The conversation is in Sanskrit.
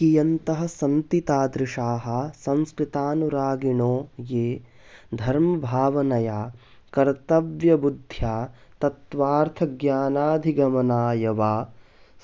कियन्तः सन्ति तादृशाः संस्कृतानुरागिणो ये धर्मभावनया कर्त्तव्यबुद्ध्या तत्त्वार्थज्ञानाधिगमाय वा